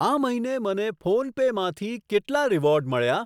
આ મહિને મને ફોનપે માંથી કેટલા રીવોર્ડ મળ્યા?